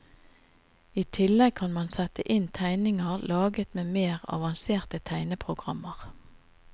I tillegg kan man sette inn tegninger laget med mer avanserte tegneprogrammer.